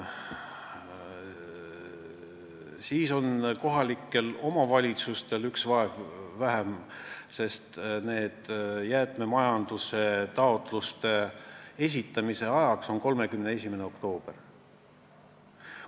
Siis on kohalikel omavalitsustel üks mure vähem, sest jäätmemajanduse taotluste esitamise tähtaeg on 31. oktoober.